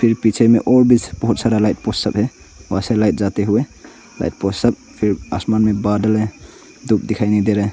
पीछे मे और भी बहोत सारा लाइट पोल सब है वहाँ से लाइट जाते हुए आसमान में बादल है धूप दिखाई नहीं दे रहा--